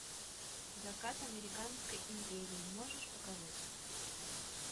закат американской империи можешь показать